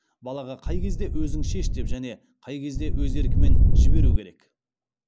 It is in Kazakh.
балаға қай кезде өзің шеш деп және қай кезде өз еркімен жіберу керек